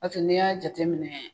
Ɔ tɛ n'i y'a jateminɛ